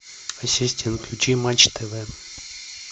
ассистент включи матч тв